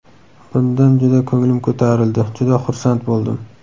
Bundan juda ko‘nglim ko‘tarildi, juda xursand bo‘ldim.